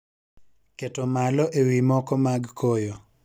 keto malo e wii moko mag koyo